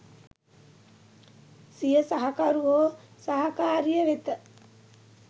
සිය සහකරු හෝ සහකාරිය වෙත